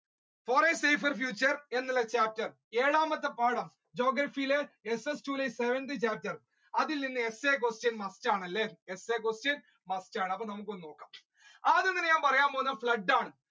For a safer future എന്നുള്ള chapter ഏഴാമത്തെ പാഠം geography യിലെ two ഇലെ seventh chapter അതിൽ നിന്ന് essay question must ആണല്ലേ essay question must ആണ് നമ്മുക്ക് ഒന്ന് നോക്കാം ആദ്യം ഞാൻ പറയ്യാൻ പോവുന്നത് ആണ്